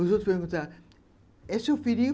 Os outros perguntavam, é seu filhinho?